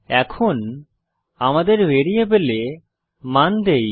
এখন আমাদের ভ্যারিয়েবলে মান দেই